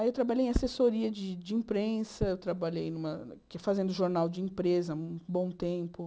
Aí eu trabalhei em assessoria de de imprensa, trabalhei numa fui fazendo jornal de empresa um bom tempo.